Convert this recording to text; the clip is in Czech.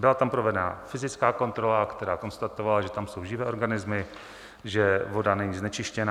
Byla tam provedena fyzická kontrola, která konstatovala, že tam jsou živé organismy, že voda není znečištěna.